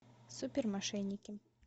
супер мошенники